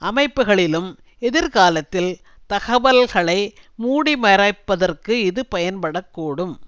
அமைப்புக்களிலும் எதிர்காலத்தில் தகவல்களை மூடிமறைப்பதற்கு இது பயன்படக்கூடும்